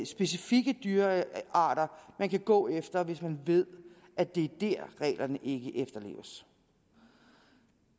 specifikke dyrearter man kan gå efter hvis man ved at det er der reglerne ikke efterleves